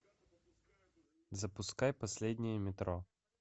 запускай последнее метро